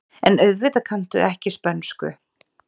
En auðvitað kanntu ekki spönsku.